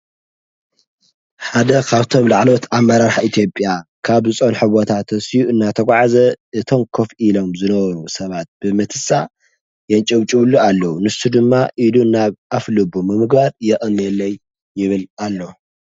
ሓደ ኻብቶም ላዕሎት ኣብ መራራሕ ኢቲጴያ ካብ ዝፆን ሕወታ ተሢዑ እናተጕዓዘ እቶን ኮፍ ኢሎም ዝነበኑ ሰባት ብምትሳእ የንጭውጭብሉ ኣለዉ ንሱ ድማ ኢዱ እናብ ኣፍ ሉቡ ምምጓር የቀንየለይ ይብል ኣሎ።